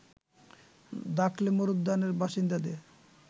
দাখলে মরুদ্যানের বাসিন্দাদের